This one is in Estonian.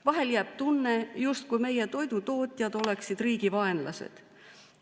Vahel jääb tunne, justkui meie toidutootjad oleksid riigi vaenlased.